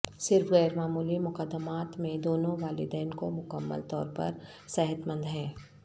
صرف غیر معمولی مقدمات میں دونوں والدین کو مکمل طور پر صحت مند ہیں